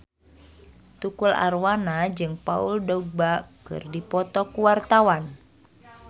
Tukul Arwana jeung Paul Dogba keur dipoto ku wartawan